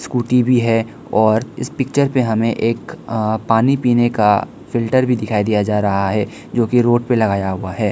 कुर्ती भी है और इस पिक्चर पे हमें एक अ पानी पीने का फिल्टर भी दिखाई दिया जा रहा है जो की रोड पे लगाया हुआ है।